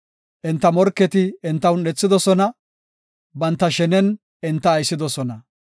Enta morketi enta un7ethidosona banta shenen enta aysidosona.